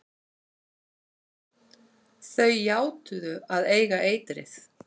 Þau játuðu að eiga eitrið.